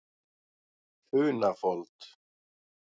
Funafold